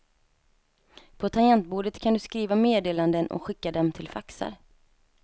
På tangentbordet kan du skriva meddelanden och skicka dem till faxar.